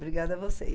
Obrigada a vocês.